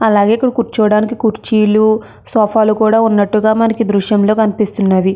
అలాగే ఇక్కడ కూర్చోవడానికి కుర్చీలు సోఫా లు కూడా ఉన్నట్టుగా మనకి దృశ్యంలో కనిపిస్తున్నది.